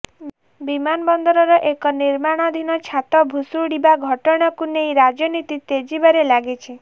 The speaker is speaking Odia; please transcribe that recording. ବିମାନବନ୍ଦରର ଏକ ନିର୍ମାଣାଧିନ ଛାତ ଭୁଶୁଡ଼ିବା ଘଟଣାକୁ ନେଇ ରାଜନୀତି ତେଜିବାରେ ଲାଗିଛି